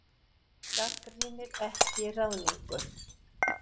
Gagnrýnir ekki ráðningu